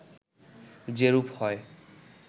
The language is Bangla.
যেরূপ হয়